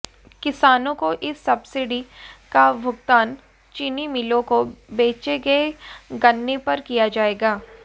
किसानों को इस सब्सिडी का भुगतान चीनी मिलों को बेचे गए गन्ने पर किया जाएगा